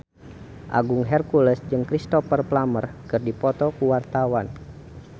Agung Hercules jeung Cristhoper Plumer keur dipoto ku wartawan